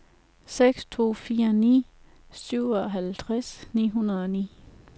seks to fire ni syvoghalvtreds ni hundrede og ni